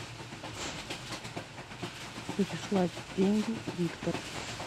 переслать деньги виктор